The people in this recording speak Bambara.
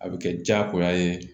A bɛ kɛ jagoya ye